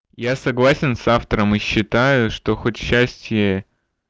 я согласен с автором и считаю что хоть счастье